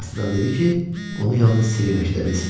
Cinni astadan dedi ki, onu yalnız Selina eşidə bilsin.